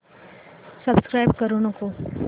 subscribe करू नको